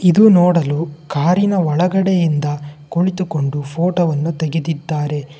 ಇದು ನೋಡಲು ಕಾರಿನ ಒಳಗಡೆಯಿಂದ ಕುಳಿತುಕೊಂಡು ಫೋಟೋವನ್ನು ತೆಗೆದಿದ್ದಾರೆ.